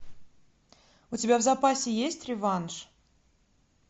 у тебя в запасе есть реванш